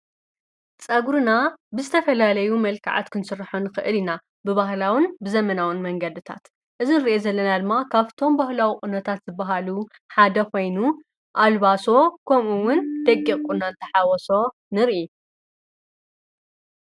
ጸጕርና ብዝተፈላለዩ መልከዓት ክንሥራሖን ኽእል ኢና ብባህላውን ብዘመናውን መንገድታት እዝን ርአ ዘለና ድማ ካብቶም ባህላዊቕነታት ዝበሃሉ ሓደኾይኑ ኣልባሶ ኮምኡውን ደጊቕቁናንተሓወሶ ንርኢ።